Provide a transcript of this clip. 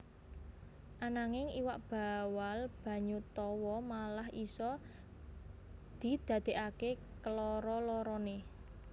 Ananging iwak bawal banyu tawa malah isa didadèkaké keloro loroné